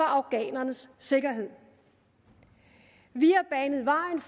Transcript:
afghanernes sikkerhed vi